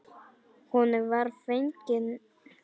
Honum var fengin hún.